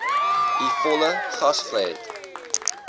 u volle gasvryheid